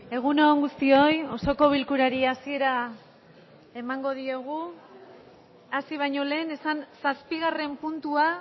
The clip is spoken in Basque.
egun on guztioi osoko bilkurari hasiera emango diogu hasi baino lehen esan zazpigarren puntua